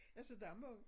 Altså der må